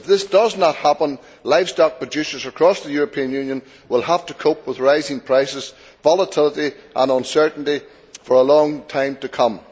If this does not happen, livestock producers across the European Union will have to cope with rising prices, volatility and uncertainty for a long time to come.